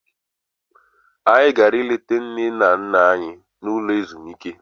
Anyị gara leta nne na nna anyị n'ụlọ ezumike.